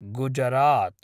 Gujarat